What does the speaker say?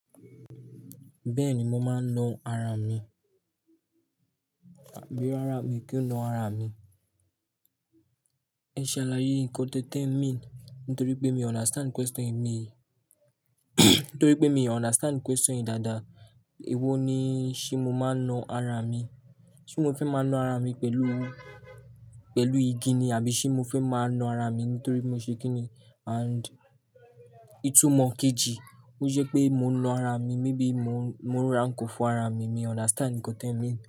Bẹ́ẹ̀ni, mo máa ńa ara mi. Bí ó rárá mi kí n na ara mi. Ẹ ṣe àlàyé nǹkan tó té mean nítorí pé mi o understand question yìí, nítorí pé mi o understand question yìí dáadáa. Èwo ni ṣé mo máa ń na ara mi? Ṣé mo fẹ́ máa ń na ara mi pẹ̀lú, pẹ̀lú igi ni? Àbí ṣé mo fẹ́ máa ń na ara mi nítorí mo ṣe kí ni? And ìtumọ̀ kejì, ó jẹ́ pé mo ń na ara mi, maybe mo ń ra nǹkan fún ara mi. Mi o understand nǹkan tẹ mean.